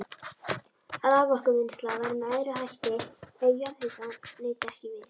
Raforkuvinnsla væri með öðrum hætti ef jarðhitans nyti ekki við.